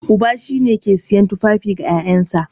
Uba shine yake siyan tufafi ga ƴaƴansa.